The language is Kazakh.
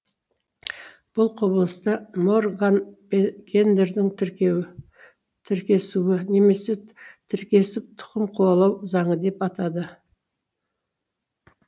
бұл құбылысты морган гендердің тіркеуі тіркесуі немесе тіркесіп тұқым қуалау заңы деп атады